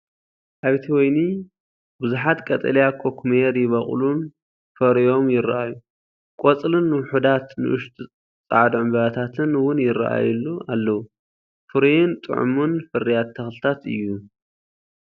ኣብቲ ወይኒ ብዙሓት ቀጠልያ ኩኩሜር ይበቁሉን ፈርዮም ይራኣዩ። ቆጽልን ውሑዳት ንኣሽቱ ጻዕዳ ዕምባባታትን እውን ይረኣዩሉ ኣለው። ፍሩይን ጥዑምን ፍርያት ተኽልታት እዩ፡፡